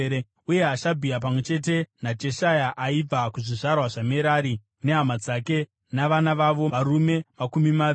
uye Hashabhia, pamwe chete naJeshaya aibva kuzvizvarwa zvaMerari, nehama dzake navana vavo, varume makumi maviri.